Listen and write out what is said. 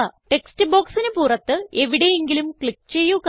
text ബോക്സിന് പുറത്ത് എവിടെയെങ്കിലും ക്ലിക്ക് ചെയ്യുക